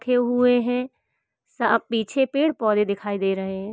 हुए हैं। साफ पीछे पेड़ पौधे दिखाई दे रहे हैं।